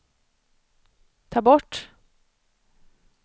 ta bort